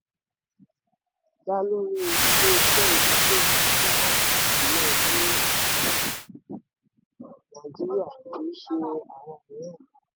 dá lórí ilé-iṣẹ́ ìdókòwò tí wọ́n kà sílẹ̀ ní um nàìjíríà kì í ṣe àwọn mìíràn.